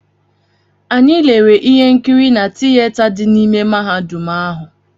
Anyị lere ihe nkiri na tiyeta dị n’ime mahadum ahụ.